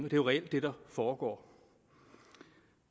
jo reelt det der foregår